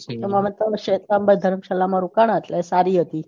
અમે એમાં ત્રણ શ્વેતાંબર ધર્મશાળા માં રોકણા એટલે સારી હતી